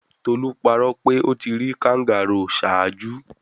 Tolu parọ pe o ti ri kangaroo ṣaaju